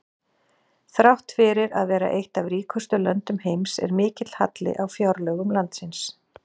Þrátt fyrir að vera eitt af ríkustu löndum heims er mikill halli á fjárlögum landsins.